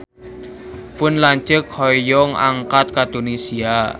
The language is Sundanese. Pun lanceuk hoyong angkat ka Tunisia